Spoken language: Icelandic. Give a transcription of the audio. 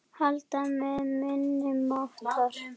Halda með minni máttar.